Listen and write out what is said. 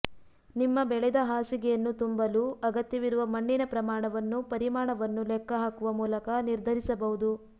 ನಿಮ್ಮ ಬೆಳೆದ ಹಾಸಿಗೆಯನ್ನು ತುಂಬಲು ಅಗತ್ಯವಿರುವ ಮಣ್ಣಿನ ಪ್ರಮಾಣವನ್ನು ಪರಿಮಾಣವನ್ನು ಲೆಕ್ಕಹಾಕುವ ಮೂಲಕ ನಿರ್ಧರಿಸಬಹುದು